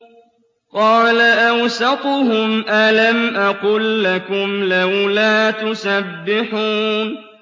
قَالَ أَوْسَطُهُمْ أَلَمْ أَقُل لَّكُمْ لَوْلَا تُسَبِّحُونَ